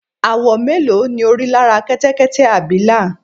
àwọ̀ mélòó ni o rí lára Kẹtẹkẹtẹ abìlà?